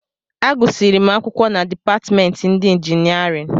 Agụsịrị m akwụkwọ na dipatịmentị ndị injinịarịn